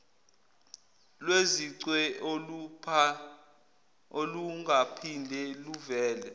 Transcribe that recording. lwezicwe olungaphinde luvele